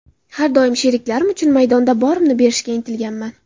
Har doim sheriklarim uchun maydonda borimni berishga intilganman.